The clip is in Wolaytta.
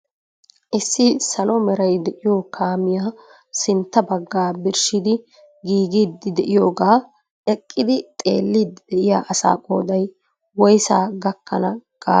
Issi salo meray de'iyo kaamiya sintta baggaa birshshidi giiggidi de'iyooga eqqidi xeellidi de'iyaa asaa qooday woyssa gakkana gaada qopay ?